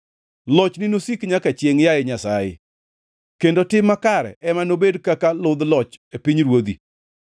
Lochni nosik nyaka chiengʼ, yaye Nyasaye; kendo tim makare ema nobed kaka ludh loch e pinyruodhi.